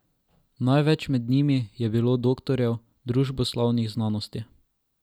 Največ med njimi je bilo doktorjev družboslovnih znanosti.